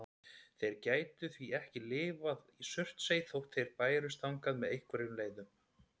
Þeir gætu því ekki lifað í Surtsey þótt þeir bærust þangað með einhverjum leiðum.